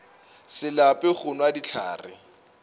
se lape go nwa dihlare